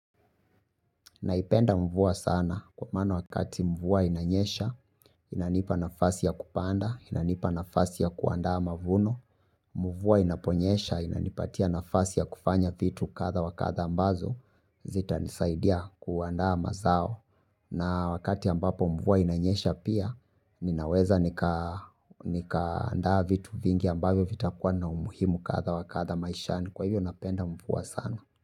Naipenda mvua sana kwa mano wakati mvua inanyesha, inanipa nafasi ya kupanda, inanipa nafasi ya kuandaa mavuno, mvua inaponyesha, inanipatia nafasi ya kufanya vitu katha wakatha ambazo, zita nisaidia kuandaa mazao. Na wakati ambapo mvua inanyesha pia, ninaweza nikaandaa vitu vingi ambayo vitakuwa na umuhimu katha wakatha maishani kwa hivyo napenda mvua sana.